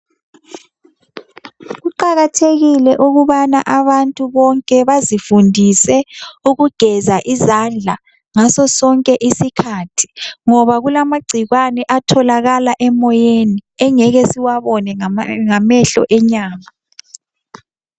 Kuqakathekile ukubana abantu bonke bazifundise ukugeza izandla ngaso sonke isikhathi ngoba kulamagcikwane atholakala emoyeni esingeke siwabone ngamehlo awenyama